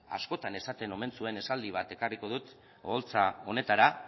askotan esaten omen zuen esaldi bat ekarriko dut oholtza honetara